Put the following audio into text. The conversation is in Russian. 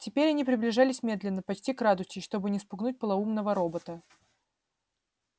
теперь они приближались медленно почти крадучись чтобы не спугнуть полоумного робота